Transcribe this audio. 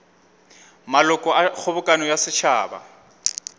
maloko a kgobokano ya setšhaba